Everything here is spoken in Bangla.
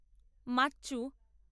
মাচচু